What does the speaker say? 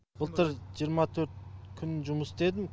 былтыр жиырма төрт күн жұмыс істедім